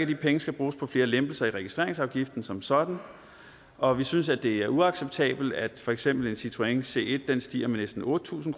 de penge skal bruges på flere lempelser af registreringsafgiften som sådan og vi synes det er uacceptabelt at for eksempel en citroën c1 stiger med næsten otte tusind